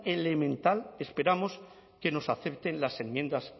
elemental esperamos que nos acepten las enmiendas